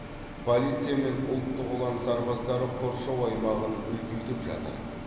полиция мен ұлттық ұлан сарбаздары қоршау аймағын үлкейтіп жатыр